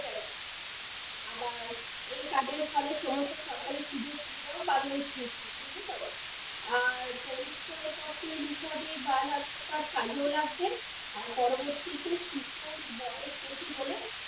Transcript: আবার এই card এর ফলে সমস্ত সরকারি সুযোগ সুবিধাও পাবে ওই শিশু বুঝলি তো, আর পরিচয়পত্রের হিসাবে বাল aadhaar card কাজেও লাগবে, আর পরবর্তীতে শিশুর বয়স বেশি হলে,